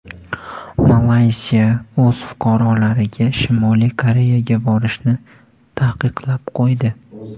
Malayziya o‘z fuqarolariga Shimoliy Koreyaga borishni taqiqlab qo‘ydi.